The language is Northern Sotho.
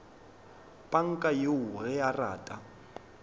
panka yoo ge a rata